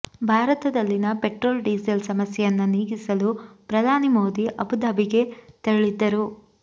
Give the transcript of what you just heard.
ಭಾರತದಲ್ಲಿನ petrol diesel ಸಮಸ್ಯೆಯನ್ನ ನೀಗಿಸಲು ಪ್ರಧಾನಿ ಮೋದಿ ಅಬುಧಾಬಿಗೆ ತೆರಳಿದ್ದರು